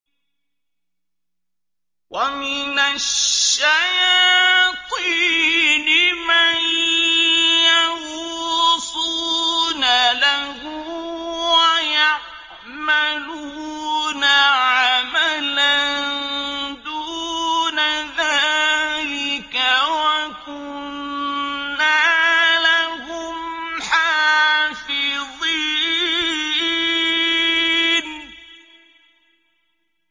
وَمِنَ الشَّيَاطِينِ مَن يَغُوصُونَ لَهُ وَيَعْمَلُونَ عَمَلًا دُونَ ذَٰلِكَ ۖ وَكُنَّا لَهُمْ حَافِظِينَ